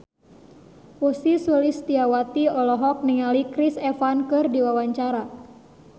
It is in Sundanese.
Ussy Sulistyawati olohok ningali Chris Evans keur diwawancara